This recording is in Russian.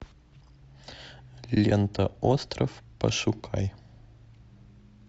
лента остров пошукай